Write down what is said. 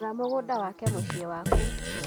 Gũra mũgũda wake mũcĩĩ waku.